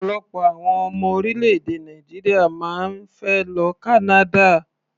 Ọ̀pọ̀lọpọ̀ àwọn ọmọ orílẹ̀-èdè Nàìjíríà máa ń fẹ́ lọ Canada.